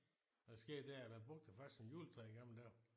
Og det skægge det er at man brugte det faktisk som juletræ i gamle dage